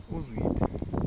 uzwide